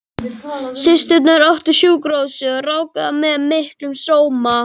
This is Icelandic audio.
Systurnar áttu sjúkrahúsið og ráku það með miklum sóma.